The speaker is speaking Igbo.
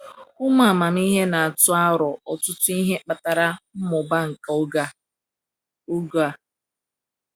Ụmụ amamihe na-atụ aro ọtụtụ ihe kpatara mmụba nke oge a. oge a.